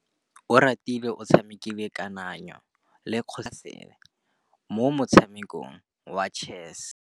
Oratile o tshamekile kananyô ya kgosigadi le khasêlê mo motshamekong wa chess.